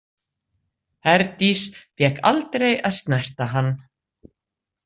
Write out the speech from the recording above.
Herdís fékk aldrei að snerta hann.